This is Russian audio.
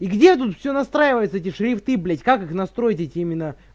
и где тут все настраивается эти шрифты блять как их настроить эти именно